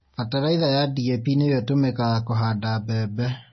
Bataraica ya DAP nĩyo ĩtũmĩkaga kũhanda mbembe.